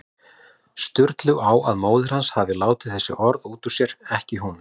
Sturlu á að móðir hans hafi látið þessi orð út úr sér, ekki hún.